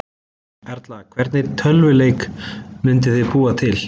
Erla: Hvernig tölvuleik myndirðu búa til?